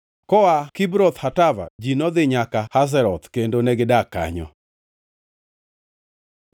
Koa Kibroth Hatava, ji nodhi nyaka Hazeroth kendo negidak kanyo.